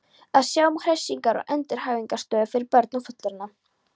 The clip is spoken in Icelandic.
Að sjá um hressingar- og endurhæfingarstöðvar fyrir börn og fullorðna.